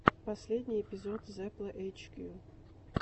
последний эпизод зепла эйчкью